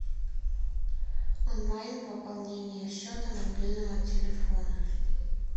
онлайн пополнение счета мобильного телефона